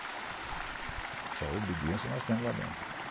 Essa obediência nós temos lá dentro.